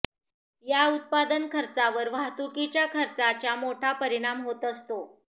या उत्पादन खर्चावर वाहतुकीच्या खर्चाच्या मोठा परिणाम होत असतो